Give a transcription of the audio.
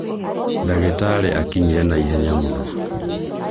dagĩtarĩ akinyire naihenya mũno